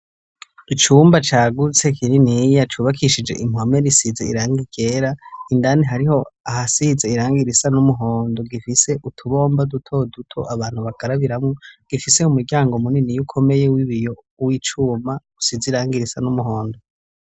Icumba cagutse kininiya cubakishije impome risize irangigera indani hariho ahasize irangi risa n'umuhondo gifise utubomba duto duto abantu bakarabiramo gifise umuryango munini y'ukomeye wibiyo w'icuma usize irangirisa n'umuhondo.